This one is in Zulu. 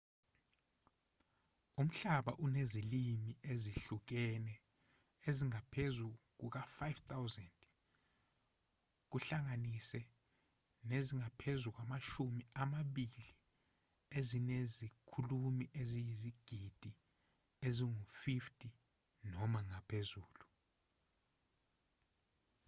umhlaba unezilimi ezihlukene ezingaphezu kuka-5,000 kuhlanganise nezingaphezu kwamashumi amabili ezinezikhulumi eziyizigidi ezingu-50 noma ngaphezulu